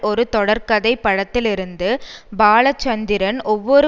ஒரு தொடர்கதை படத்திலிருந்து பாலசந்தரின் ஒவ்வொரு